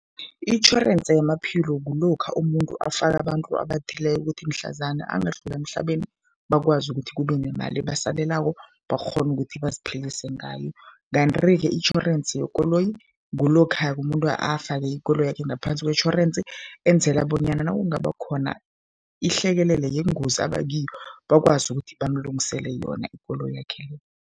Itjhorense yamaphilo kulokha umuntu afaka abantu abathileko ukuthi mhlazana angadlula emhlabeni, bakwazi ukuthi kube nemali ebasalelako, bakghone ukuthi baziphilise ngayo. Kanti-ke itjhorensi yekoloyi kulokha-ke umuntu afake ikoloyakhe ngaphansi kwetjhorensi enzela bonyana nakungaba khona ihlekelele yengozi aba kiyo, bakwazi ukuthi bamlungisele yona ikoloyakhe le.